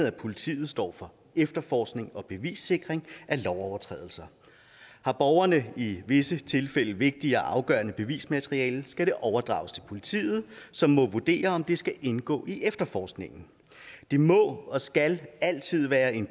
at politiet står for efterforskning af og bevissikring ved lovovertrædelser har borgerne i visse tilfælde vigtigt og afgørende bevismateriale skal det overdrages til politiet som må vurdere om det skal indgå i efterforskningen det må og skal altid være en